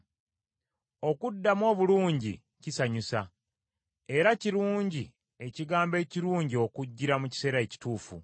Okuddamu obulungi kisanyusa, era kirungi ekigambo ekirungi okujjira mu kiseera ekituufu.